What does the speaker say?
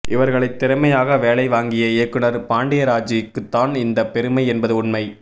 இவர்களை திறமையாக வேலை வாங்கிய இயக்குனர் பாண்டியராஜூக்குத்தான் இந்த பெருமை என்பது உண்மை